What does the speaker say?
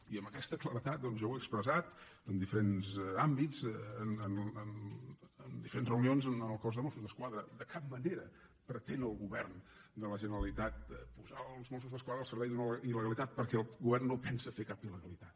i amb aquesta claredat jo ho he expressat en diferents àmbits en diferents reunions amb el cos de mossos d’esquadra de cap manera pretén el govern de la generalitat posar els mossos d’esquadra al servei d’una il·il·legalitat